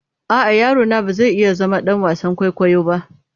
A'a, yaro na ba zai iya zama ɗan wasan kwaikwayo na.